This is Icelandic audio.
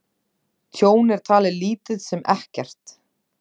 Tjón er talið lítið sem ekkert